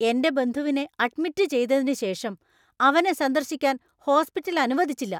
എന്‍റെ ബന്ധുവിനെ അഡ്മിറ്റ് ചെയ്തതിന് ശേഷം അവനെ സന്ദർശിക്കാൻ ഹോസ്പിറ്റല്‍ അനുവദിച്ചില്ല.